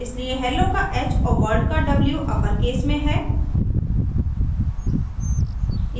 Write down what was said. इसलिए hello का h और world का w अपरकेस में है